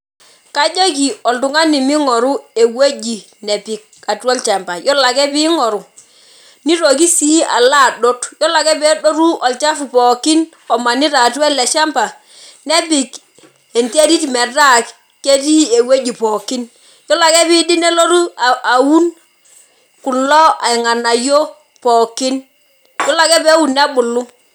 Kajoki oltung'ani ming'oru ewueji nejing' atua olchamba. Yiolo ake ping'oru, nitoki si alo adot. Yiolo ake pedotu olchafu pookin omanita atua ele shamba, nepik enterit metaa ketii ewueji pookin. Yiolo ake piidip nelotu aun kulo irng'anayio pookin. Yiolo ake peun nebulu.